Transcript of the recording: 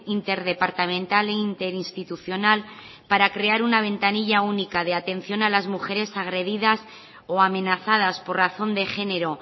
interdepartamental e interinstitucional para crear una ventanilla única de atención a las mujeres agredidas o amenazadas por razón de género